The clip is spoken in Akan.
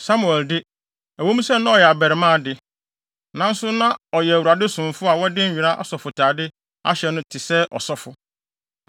Samuel de, ɛwɔ mu sɛ na ɔyɛ abarimaa de, nanso na ɔyɛ Awurade somfo a wɔde nwera asɔfotade ahyɛ no te sɛ ɔsɔfo.